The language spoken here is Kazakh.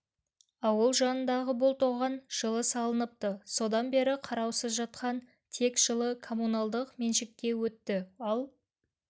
ауыл жанындағы бұл тоған жылы салыныпты содан бері қараусыз жатқан тек жылы коммуналдық меншікке өтті ал